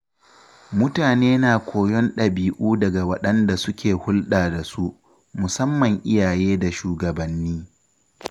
Mutane na koyon ɗabi’u daga waɗanda suke hulɗa da su, musamman iyaye da shugabanni.